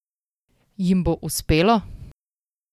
Jim bo uspelo?